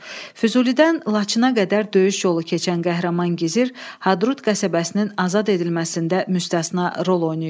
Füzulidən Laçına qədər döyüş yolu keçən qəhrəman gizir Hadrut qəsəbəsinin azad edilməsində müstəsna rol oynayıb.